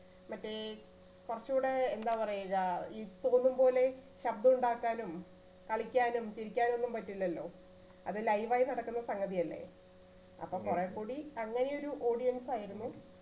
മറ്റേ കുറച്ചൂടെ എന്താ പറയുക ഈ തോന്നും പോലെ ശബ്ദം ഉണ്ടാക്കാനും, കളിക്കാനും, ചിരിക്കാനും ഒന്നും പറ്റില്ലല്ലോ. അത് live യി നടക്കുന്ന സംഗതിയല്ലേ അപ്പൊ കുറെ കൂടി നല്ല ഒരു audience ആയിരുന്നു.